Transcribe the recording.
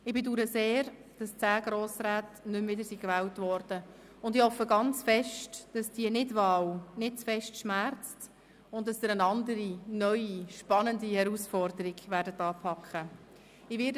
Ich bedaure sehr, dass zehn Grossräte nicht mehr wiedergewählt wurden, und ich hoffe sehr, dass diese Nichtwahl nicht zu sehr schmerzt und dass Sie eine andere neue, spannende Herausforderung anpacken werden.